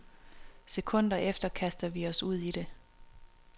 Sekunder efter kaster vi os ud i det.